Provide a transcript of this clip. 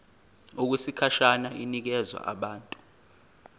okwesikhashana inikezwa abantu